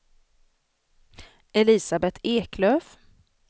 Elisabeth Eklöf